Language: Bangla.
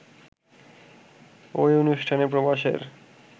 ওই অনুষ্ঠানে প্রবাসের